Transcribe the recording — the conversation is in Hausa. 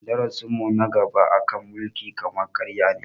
Darasin mu na gaba a kan mulkin kama karya ne